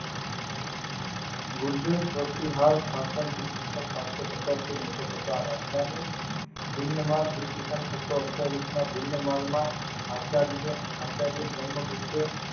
ગુજર શાશક ઇસવીસન સાતશો પચાશ થી નવશો પચાષ રાજધાની હિન્દમાર્ગ ઇશવીશન છસો અઠયાવિશ માં હિન્દ માર્ગ માં આચાર્ય આચર્ય બ્રહ્મ ગુપ્ત